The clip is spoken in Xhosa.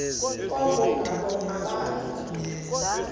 koko ngabo abaza